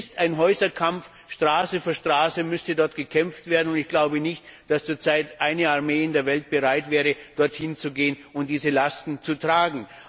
Es ist ein Häuserkampf, Straße für Straße müsste dort gekämpft werden, und ich glaube nicht, dass zurzeit eine Armee in der Welt bereit wäre, dort hinzugehen und diese Lasten zu tragen.